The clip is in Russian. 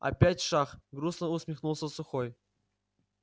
опять шах грустно усмехнулся сухой